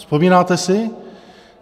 Vzpomínáte si?